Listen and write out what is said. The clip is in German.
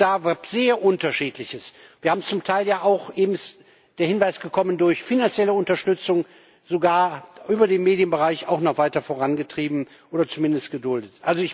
Auch da gilt sehr Unterschiedliches. Wir haben das zum Teil ja auch eben ist der Hinweis gekommen durch finanzielle Unterstützung, sogar über den Medienbereich, noch weiter vorangetrieben oder zumindest geduldet.